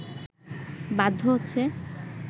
বাধ্য হচ্ছে